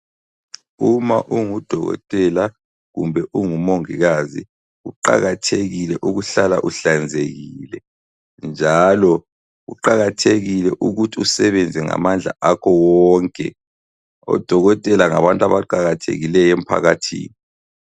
Uma ungudokotela kumbe ungumongikazi kuqakathekile ukuhlala uhlanzekile njalo kuqakathekile ukuthi usebenze ngamandla akho wonke. Odokotela ngabantu abaqakathekileyo emphakathini.